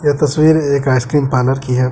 ये तस्वीर एक आइसक्रीम पार्लर की है।